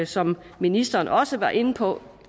som ministeren også var inde på